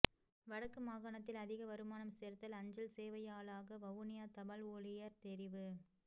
வடக்கு மாகாணத்தில் அதிக வருமானம் சேர்த்தல் அஞ்சல் சேவையாளாக வவுனியா தபால் ஊழியர் தெரிவு